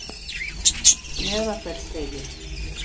Meðalfellsvegi